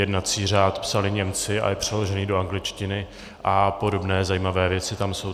Jednací řád psali Němci a je přeložený do angličtiny, a podobné zajímavé věci tam jsou.